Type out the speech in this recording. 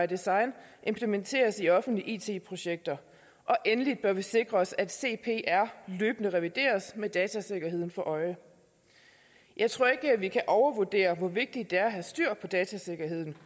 design implementeres i offentlige it projekter endelig bør vi sikre os at cpr løbende revideres med datasikkerheden for øje jeg tror ikke at vi kan overvurdere hvor vigtigt det er at have styr på datasikkerheden